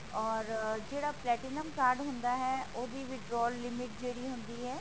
or ਜਿਹੜਾ platinum card ਹੁੰਦਾ ਹੈ ਉਹਦੀ withdraw limit ਜਿਹੜੀ ਹੁੰਦੀ ਹੈ